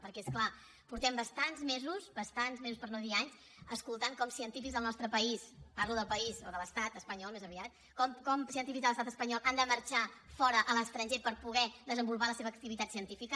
perquè és clar fa bastants mesos bastants mesos per no dir anys que escoltem com científics del nostre país parlo del país o de l’estat espanyol més aviat com científics de l’estat espanyol han de marxar fora a l’estranger per poder desenvolupar la seva activitat científica